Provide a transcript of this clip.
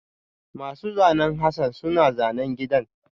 Masu zanen Hassan suna zanen gidan